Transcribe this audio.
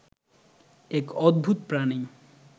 এক অদ্ভূত প্রাণী